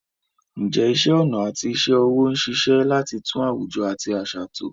Ǹjẹ́ iṣẹ́ ọnà àti iṣẹ́ ọwọ́ ń ṣiṣẹ́ láti tún àwùjọ àti àṣà tò?